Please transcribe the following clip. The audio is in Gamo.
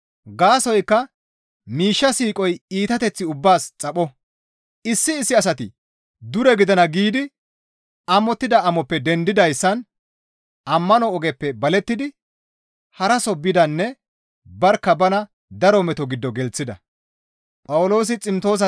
Gaasoykka miishsha siiqoy iitateth ubbaas xapho; issi issi asati dure gidana giidi amottida amoppe dendidayssan ammano ogeppe balettidi haraso bidanne barkka bana daro meto giddo gelththida.